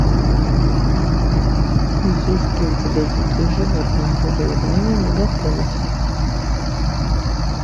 есть ли у тебя дикие животные завоевание мегаполиса